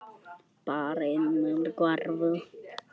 Barnið hvarf.